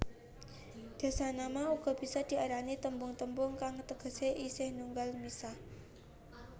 Dasanama uga bisa diarani tembung tembung kang tegesé isih nunggal misah